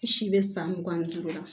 Si bɛ san mugan ni duuru la